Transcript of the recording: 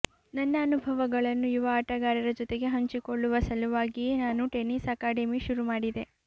ನನ್ನ ಅನುಭವಗಳನ್ನು ಯುವ ಆಟಗಾರರ ಜೊತೆಗೆ ಹಂಚಿಕೊಳ್ಳುವ ಸಲುವಾಗಿಯೇ ನಾನು ಟೆನ್ನಿಸ್ ಅಕಾಡೆಮಿ ಶುರು ಮಾಡಿದೆ